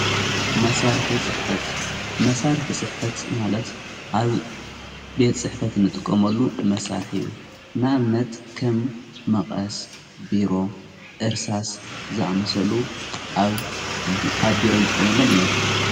መሣርሕ ጽሕፈት ማለት ኣብ ቤት ጽሕፈት ንጥቆመሉ መሣርሕ እዩ ናእምነት ከም መቐስ ቢሮ ዕርሳስ ዝኣመሰሉ ኣብ ቢሮ ን ጥቆመሎም እዮም::